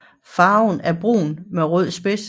Farven er brun med rød spids